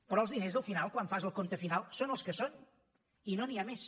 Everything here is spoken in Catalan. però els diners al final quan fas el compte final són els que són i no n’hi ha més